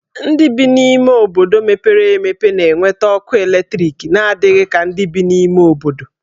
Ndị bi n'obodo mepere emepe na-enweta ọkụ eletriki n'adịghị ka ndị bi n'ime ime obodo.